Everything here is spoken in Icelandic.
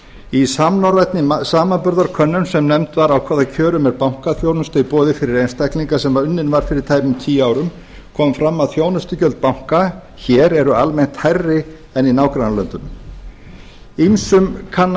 í samnorrænni samanburðarkönnun sem nefnd var á hvaða kjörum er bankaþjónusta í boði fyrir einstaklinga sem unnin var fyrir tæpum tíu árum kom fram að þjónustugjöld banka hér eru almennt hærri en í nágrannalöndunum ýmsum kann að